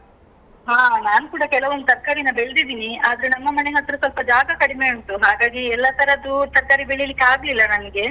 ಹಾ, ನಾನ್ ಕೂಡ ಕೆಲವೊಂದ್ ತರ್ಕಾರೀನ ಬೆಳ್ದಿದ್ದೀನಿ. ಆದ್ರೆ ನಮ್ಮ ಮನೆ ಹತ್ರ ಸ್ವಲ್ಪ ಜಾಗ ಕಡಿಮೆ ಉಂಟು, ಹಾಗಾಗಿ ಎಲ್ಲ ತರದ್ದು ತರ್ಕಾರಿ ಬೆಳೀಲಿಕ್ಕೆ ಆಗ್ಲಿಲ್ಲ ನನ್ಗೆ.